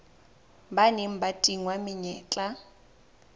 ba neng ba tingwa menyetla